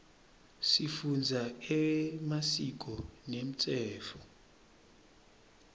sifundza emasiko nemtsetfo